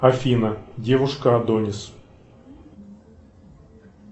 афина девушка адонис